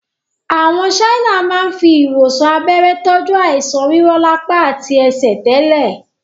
Àwọn Chinese máa ń fi ìwòsàn abẹ́rẹ́ tọju àìsàn rírọlapa àti ẹsẹ̀ tẹ́lẹ̀